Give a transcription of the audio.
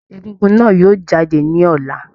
Egúngún náà yóò jáde ní ọlá.